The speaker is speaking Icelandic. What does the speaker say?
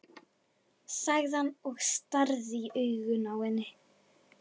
sagði hann og starði í augun á henni.